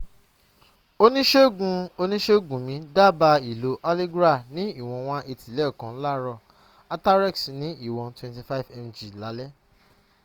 oniṣègùn oniṣègùn mí dábàá ìlò allegra ní ìwọn 180 lẹ́ẹ̀kan láàárọ̀ atarax ní ìwọn 25 mg lálẹ́